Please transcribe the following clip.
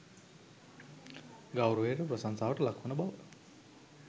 ගෞරවයට, ප්‍රශංසාවට ලක්වන බව